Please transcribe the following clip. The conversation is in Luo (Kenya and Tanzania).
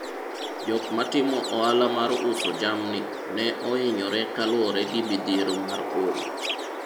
jok matimo ohala mar uso jamni ne ohinyore kaluwore gi mithiero mar oro